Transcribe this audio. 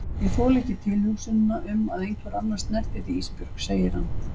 Ég þoli ekki tilhugsunina um að einhver annar snerti þig Ísbjörg, segir hann.